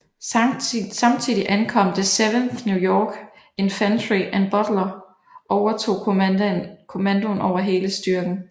Samtidig ankom det 7th New York Infantry og Butler overtog kommandoen over hele styrken